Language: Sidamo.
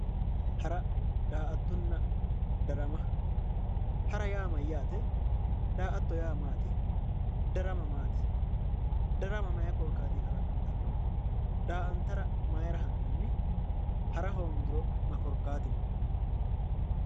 Hara daa''ttonna darama hara yaa mayyaate daa"atto yaa mayyaate? darama mati darama mayi korkaatinni dagganno? daa"antara mayira ha'nanni? hara hoongiro ma korkaatino?